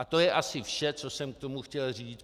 A to je asi vše, co jsem k tomu chtěl říct.